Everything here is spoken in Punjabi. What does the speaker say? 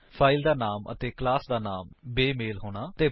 ਫਾਇਲ ਦਾ ਨਾਮ ਅਤੇ ਕਲਾਸ ਦਾ ਨਾਮ ਬੇਮੇਲ ਹੋਣਾ